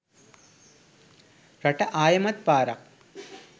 රට ආයෙමත් පාරක්